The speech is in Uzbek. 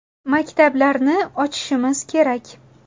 Maktablarni ochishimiz kerak.